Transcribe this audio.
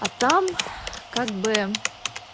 а там как бы